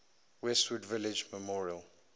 westwood village memorial